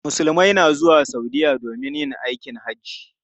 Musulmai na zuwa Saudiya domin yin hajji.